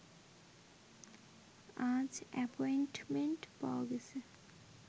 আজ অ্যাপয়েন্টমেন্ট পাওয়া গেছে